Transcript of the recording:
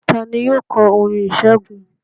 Ta ni yóò kọ orin ìṣẹ́gun?